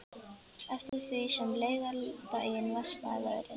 Eftir því sem leið á daginn versnaði veðrið.